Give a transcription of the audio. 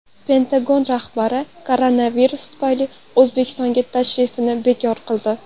Pentagon rahbari koronavirus tufayli O‘zbekistonga tashrifini bekor qildi.